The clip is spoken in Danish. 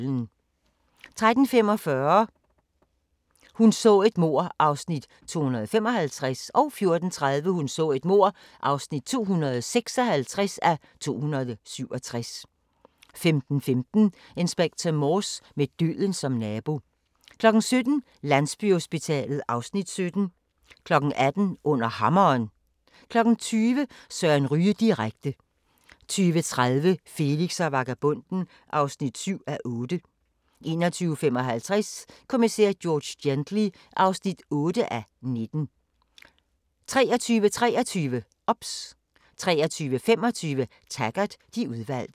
13:45: Hun så et mord (255:267) 14:30: Hun så et mord (256:267) 15:15: Inspector Morse: Med døden som nabo 17:00: Landsbyhospitalet (Afs. 17) 18:00: Under Hammeren 20:00: Søren Ryge direkte 20:30: Felix og vagabonden (7:8) 21:55: Kommissær George Gently (8:19) 23:23: OBS 23:25: Taggart: De udvalgte